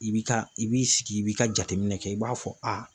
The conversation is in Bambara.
I b'i ka i b'i sigi i bi ka jateminɛ kɛ i b'a fɔ a